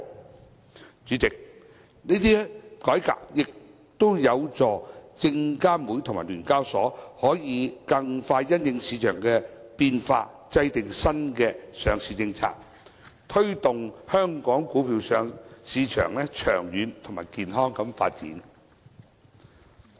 代理主席，這些改革也有助證監會和聯交所可以更快因應市場的變化制訂新的上市政策，推動香港股票市場長遠及健康的發展。